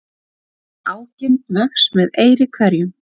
Ágirnd vex með eyri hverjum.